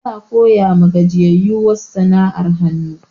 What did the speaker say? Ana koya ma gajiyayu wasu sana'ar hanu